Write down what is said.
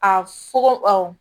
A fogo awɔ